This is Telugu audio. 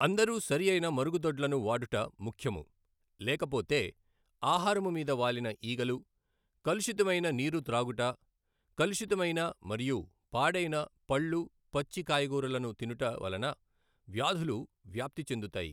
అందరూ సరియైన మఱుగుదొడ్లను వాడుట ముఖ్యము లేకపోతే ఆహారము మీద వాలిన ఈగలు కలుషితమయిన నీరు త్రాగుట కలుషితమయిన మరియు పాడయిన పళ్ళు పచ్చి కాయగూరలను తినుట వలన వ్యాధులు వ్యాప్తి చెందుతాయి.